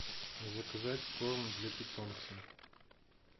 заказать корм для питомца